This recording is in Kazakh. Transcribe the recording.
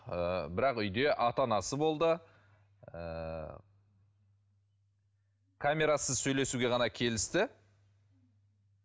ыыы бірақ үйде ата анасы болды ыыы камерасыз сөйлесуге ғана келісті